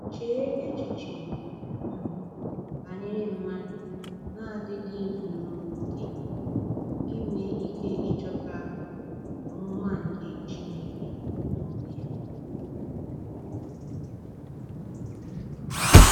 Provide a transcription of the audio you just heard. Chee echiche um banyere mmadụ na-adịghị zuru okè inwe ike ịchọta “omụma nke Chineke n’onwe ya”!